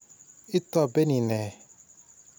Itopeni ne?